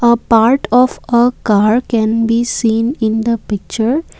a part of car a car can be seen in the picture.